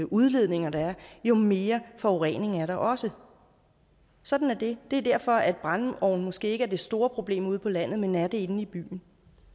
udledninger der er jo mere forurening er der også sådan er det det er derfor at brændeovne måske ikke er det store problem ude på landet men er det inde i byen